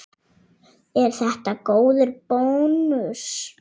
Er þetta góður bónus?